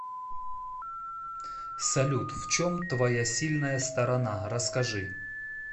салют в чем твоя сильная сторона расскажи